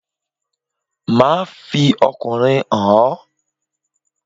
Máà fi ọkùnrin hàn ọ́